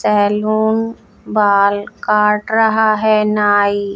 salon बाल काट रहा है नाई--